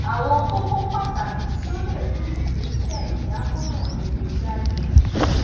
àwọn kókó pàtàkì tí ó lè mú ìgbésẹ ìdámọràn rere jáde um ni